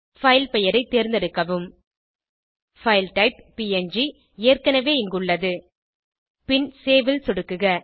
file பெயரை தேர்ந்தெடுக்கவும் file type PNG ஏற்கனவே இங்குள்ளது பின் சேவ் ல் சொடுக்குக